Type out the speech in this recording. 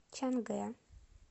чангэ